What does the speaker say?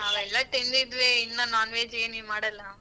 ಅವೆಲ್ಲ ತಿಂದಿದ್ವಿ ಇನ್ನ non-veg ಏನ್ ನೀವ್ ಮಾಡಲ್ಲ.